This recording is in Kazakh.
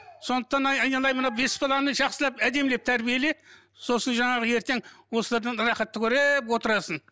сондықтан айналайын мына бес баланы жақсылап әдемілеп тәрбиеле сосын жаңағы ертең осылардан рахатты көріп отырасың